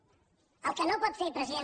el que no pot fer president